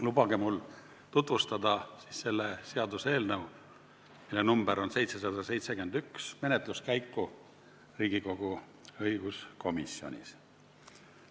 Lubage mul tutvustada selle seaduseelnõu, mille number on 771, menetluskäiku Riigikogu õiguskomisjonis.